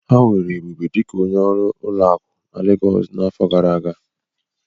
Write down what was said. Ha weere Ebube dịka onye ọrụ ụlọakụ na Legọọsụ n'afọ gara aga.